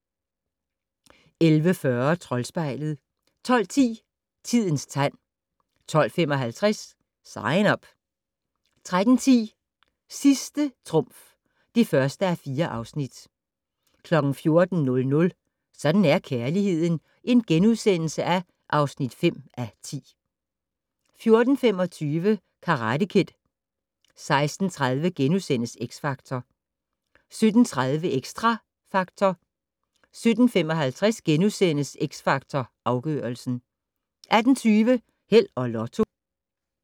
11:40: Troldspejlet 12:10: Tidens tegn 12:55: Sign Up 13:10: Sidste trumf (1:4) 14:00: Sådan er kærligheden (5:10)* 14:25: Karate Kid 16:30: X Factor * 17:30: Xtra Factor 17:55: X Factor Afgørelsen * 18:20: Held og Lotto